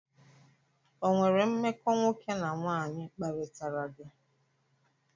O nwere mmekọ nwoke na nwanyị kparịtara gị?